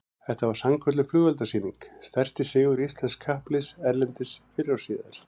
Þetta var sannkölluð flugeldasýning, stærsti sigur íslensks kappliðs erlendis fyrr og síðar